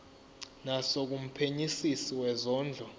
naso kumphenyisisi wezondlo